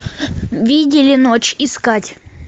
видели ночь искать